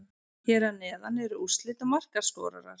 Hér að neðan eru úrslit og markaskorarar.